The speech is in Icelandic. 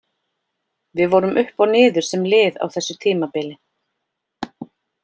Við vorum upp og niður sem lið á þessu tímabili.